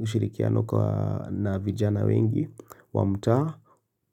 ushirikiano kwa na vijana wengi wa mtaa.